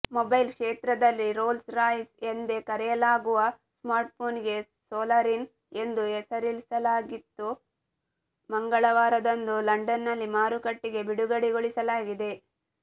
mobile ಕ್ಷೇತ್ರದಲ್ಲಿ Rolls Royce ಎಂದೇ ಕರೆಯಲಾಗುವ ಸ್ಮಾರ್ಟ್ಫೋನ್ಗೆ ಸೋಲಾರಿನ್ ಎಂದು ಹೆಸರಿಸಲಾಗಿದ್ದು ಮಂಗಳವಾರದಂದು ಲಂಡನ್ನಲ್ಲಿ ಮಾರುಕಟ್ಟೆಗೆ ಬಿಡುಗಡೆಗೊಳಿಸಲಾಗಿದೆ